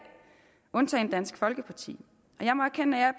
undtagen dansk folkeparti jeg må erkende at